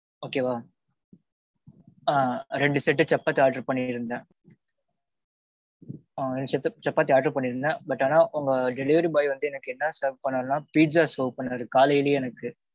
okay வா. ரெண்டு set சப்பாத்தி order பண்ணி இருந்தேன். ஆ ரெண்டு set சப்பாத்தி order பண்ணி இருந்தேன் but ஆனா உங்க delivery boy வந்து எனக்கு என்ன serve பன்னார்னா pizza serve பன்னாரு காலையிலே எனக்கு.